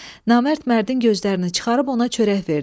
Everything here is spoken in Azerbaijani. Namərd mərdin gözlərini çıxarıb ona çörək verdi.